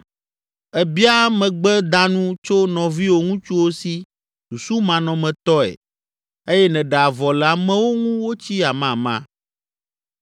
Èbia megbedanu tso nɔviwò ŋutsuwo si susumanɔmetɔe eye nèɖe avɔ le amewo ŋu wotsi amama.